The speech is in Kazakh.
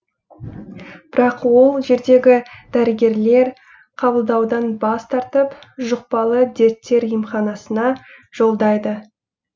бірақ ол жердегі дәрігерлер қабылдаудан бас тартып жұқпалы дерттер емханасына жолдайды